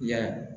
I y'a ye